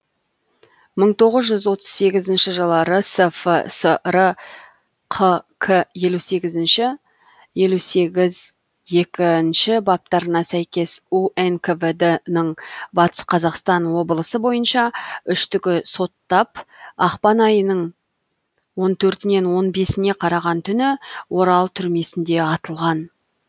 мың тоғыз жүз отыз сегізінші жылы рсфср қк елу сегізінші елу сегіз екінші баптарына сәйкес унквд ның батыс қазақстан облысы бойынша үштігі соттап ақпан айының он төртінен он бесіне қараған түні орал түрмесінде атылған